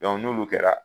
n'olu kɛra